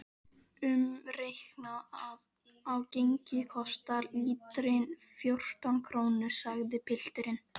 Umreiknað á gengi kostar lítrinn fjórtán krónur, sagði pilturinn.